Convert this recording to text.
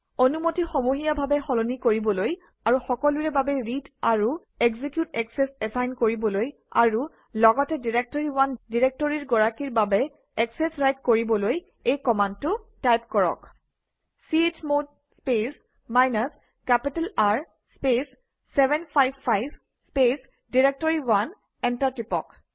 অনুমতি সমূহীয়াভাৱে সলনি কৰিবলৈ আৰু সকলোৰে বাবে ৰিড আৰু এক্সিকিউট একচেচ এচাইন কৰিবলৈ আৰু লগতে ডাইৰেক্টৰী1 ডিৰেক্টৰীৰ গৰাকীৰ বাবে একচেচ ৰাইট কৰিবলৈ এই কমাণ্ডটো টাইপ কৰক - chmod space minus capital R space 755 space directory one enter টিপক